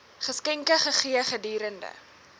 geskenke gegee gedurende